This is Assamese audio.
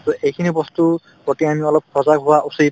to এইখিনি বস্তুৰ প্ৰতি আমি অলপ সজাগ হোৱা উচিত